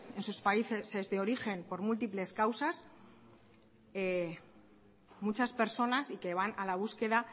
en sus países de origen por múltiples causas muchas personas y que van a la búsqueda